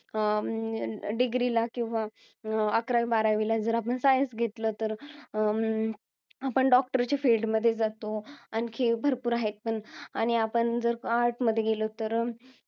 अं degree ला, किंवा अं अकरावी, बारावीला जर आपण आपण science घेतलं, तर अं आपण doctor च्या field मध्ये जातो. आणखी भरपूर आहेत पण, आणि आपण जर arts मध्ये गेलो तर अं